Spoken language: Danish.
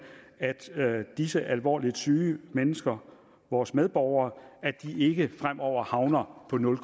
at disse alvorligt syge mennesker vores medborgere ikke fremover havner på nul